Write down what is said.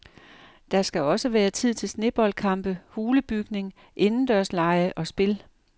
Der skal også være tid til sneboldkampe, hulebygning, indendørslege og spil.